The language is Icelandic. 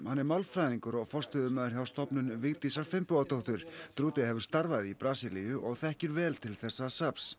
málfræðingur og forstöðumaður hjá Stofnun Vigdísar Finnbogadóttur hefur starfað í Brasilíu og þekkir vel til þessa safns